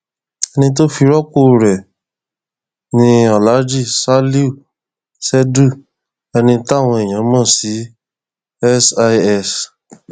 ẹni tó fi rọpò rẹ ni alhaji salihu ṣèìdú ẹni táwọn èèyàn mọ sí sís